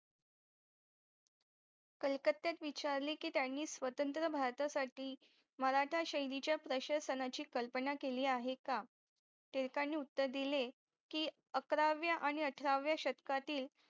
कळकतेत विचारलेकी त्यांनी स्वतंत्र भारतासाठी मराठा शनीच्या प्रशासनाची कल्पना केली आहे का टिळकांनी उत्तर दिले कि अकराव्या आणि अठराव्या शतकातील